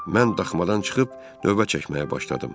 Mən daxmadan çıxıb növbə çəkməyə başladım.